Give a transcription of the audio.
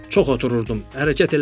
Çox otururdum, hərəkət eləmirdim.